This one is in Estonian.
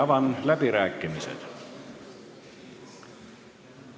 Avan läbirääkimised.